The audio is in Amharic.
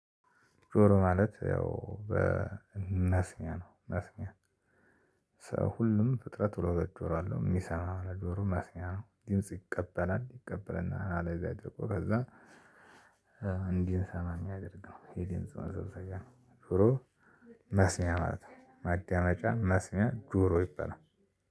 ጆሮ ማለት ያው በእመስሚያ ነው መስሚያ። ሰው ሁሉም ፍጥረት ሁለት ሁለት ጆሮ አለው የሚሰማ ነገሩ መስሚያ ነው ድምጽ ይቀበላል ይቀበልና አለዚያ አድርጎ ከዛ እንዲሰማ ሚያደርግ ነው። የዲምጽ መሰብሰቢያ ነው ዞሮ መስሚያ ማለት ነው። ማዳመጫ መስሚያ ጆሮ ይበላል።